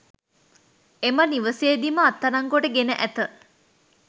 එම නිවසේදීම අත්අඩංගුවට ගෙන ඇත